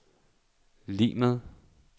lig med